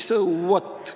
So what?